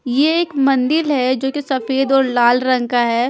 यह एक मंदिल है जो कि सफ़ेद और लाल रंग का है।